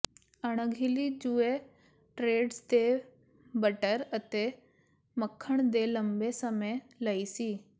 ਅਣਗਹਿਲੀ ਜੂਏ ਟ੍ਰੈਡਸ ਦੇ ਬਟਰ ਅਤੇ ਮੱਖਣ ਦੇ ਲੰਬੇ ਸਮੇਂ ਲਈ ਸੀ